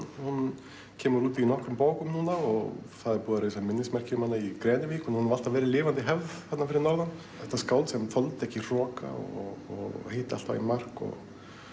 hún kemur út í nokkrum bókum núna og það er búið að reisa minnismerki um hana í Grenivík hún hefur alltaf verið lifandi hefð þarna fyrir norðan þetta skáld sem þoldi ekki hroka og hitti alltaf í mark og